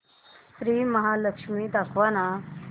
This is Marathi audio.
श्री महालक्ष्मी दाखव ना